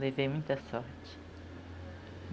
Levei muita sorte.